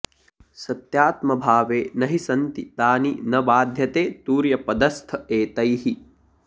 सत्यात्मभावे न हि सन्ति तानि न बाध्यते तुर्यपदस्थ एतैः